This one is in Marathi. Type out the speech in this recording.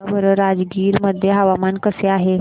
सांगा बरं राजगीर मध्ये हवामान कसे आहे